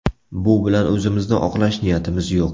Bu bilan o‘zimizni oqlash niyatimiz yo‘q.